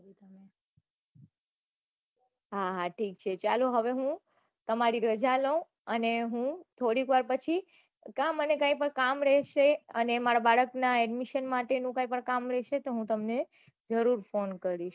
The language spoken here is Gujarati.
હા હા ઠીક ઠીક ચાલો હવે હું તમારી રાજા લઉ અને હું થોડીક વાર પછી ક્યાં મને કઈ પન કામ રહે છે અને મારા બાળક ના admission માટે નું પન કઈ પન કામ રહેશે તો હું તમને જરૂર phone કરીશ